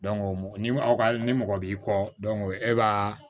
ni mɔgɔ ni mɔgɔ b'i kɔ dɔn e b'a